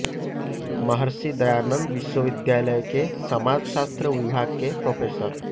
महर्षि दयानंद विश्वविद्यालय के समाज शास्त्र विभाग के प्रोफेसर